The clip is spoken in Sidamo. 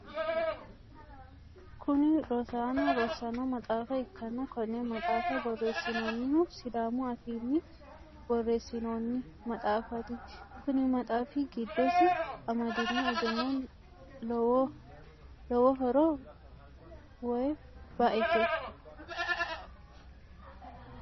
Kunni rosaano rosano maxaafa ikanna konne maxaafa boreesinoonnihu sidaamu afiinni boreesinoonni maxaafaati. Kunni maxaafi gidosi amadino egeno lowohoro woyi ba'ete